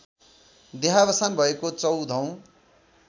देहावसान भएको चौधौं